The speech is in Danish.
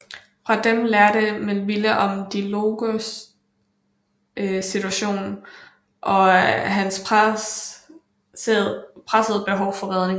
Fra dem lærte Melville om De Longs situation og hans presserende behov for redning